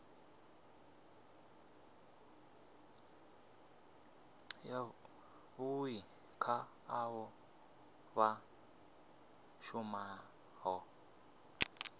yavhui kha avho vha shumaho